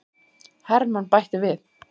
Hermann bætti við.